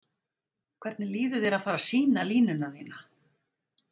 Hvernig líður þér að vera fara sýna línuna þína?